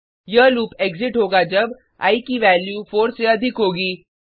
यह loop exit होगा जब आई की वैल्यू 4 से अधिक होगी